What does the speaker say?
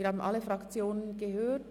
Wir haben alle Fraktionen gehört.